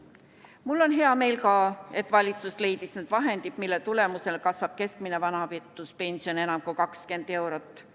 Mul on hea meel, et valitsus leidis need vahendid, mille tulemusel kasvab keskmine vanaduspension enam kui 20 eurot.